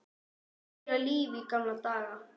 Meira líf í gamla daga?